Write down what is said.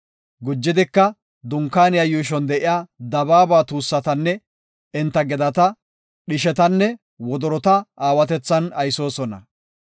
Gujidika, Dunkaaniya yuushon de7iya dabaaba tuussatanne enta gedata, dhishetanne wodorota aawatethan aysoosona.